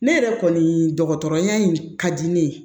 Ne yɛrɛ kɔni dɔgɔtɔrɔya in ka di ne ye